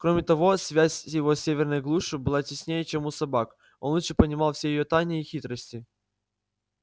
кроме того связь его с северной глушью была теснее чем у собак он лучше понимал все её тайны и хитрости